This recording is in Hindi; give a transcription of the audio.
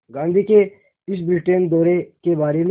गांधी के इस ब्रिटेन दौरे के बारे में